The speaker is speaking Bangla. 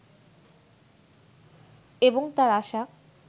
এবং তার আশা